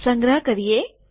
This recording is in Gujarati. સંગ્રહ કરીએ